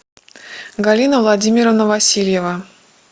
галина владимировна васильева